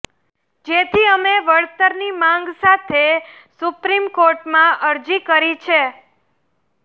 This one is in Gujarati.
જેથી અમે વળતરની માંગ સાથે સુપ્રીમકોર્ટમાં અરજી કરી છે